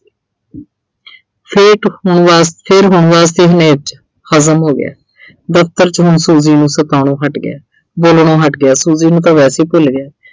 ਹੋ ਗਿਆ। ਦਫ਼ਤਰ 'ਚ ਹੁਣ Suji ਨੂੰ ਸਤਾਉਣੋ ਹਟ ਗਿਆ। ਬੋਲਣੋ ਹਟ ਗਿਆ, Suji ਨੂੰ ਤਾਂ ਵੈਸੇ ਹੀ ਭੁੱਲ ਗਿਆ।